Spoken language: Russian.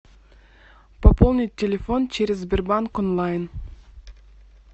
пополнить телефон через сбербанк онлайн